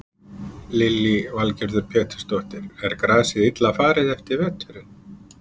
Lillý Valgerður Pétursdóttir: Er grasið illa farið eftir veturinn?